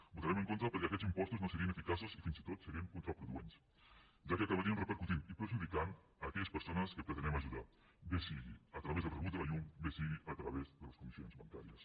hi votarem en contra perquè aquests impostos no serien eficaços i fins i tot serien contraproduents ja que acabarien repercutint i perjudicant aquelles persones que pretenem ajudar bé sigui a través del rebut de la llum bé sigui a través de les comissions bancàries